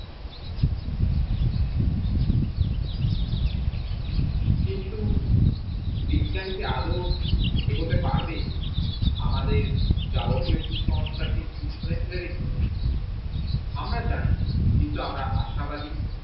কিন্তু বিজ্ঞান কি আদেও এগোতে পারবে, আমাদের জাবতিও কুসংস্কার কে পিছনে ফেলে রেখে আমরা জানিনা কিন্তু আমরা আশাবাদি